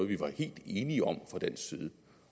vi var helt enige om fra dansk side